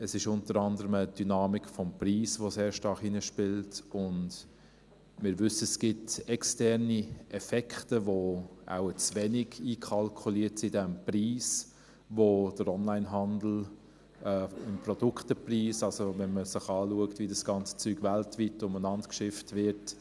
Es ist unter anderem eine Dynamik des Preises, die sehr stark hineinspielt, und wir wissen, es gibt externe Effekte, die wohl in diesem Produktpreis im Onlinehandel zu wenig einkalkuliert sind, wenn man betrachtet, wie die ganzen Dinge weltweit umhergeschifft werden.